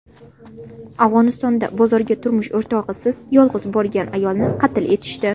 Afg‘onistonda bozorga turmush o‘rtog‘isiz, yolg‘iz borgan ayolni qatl etishdi.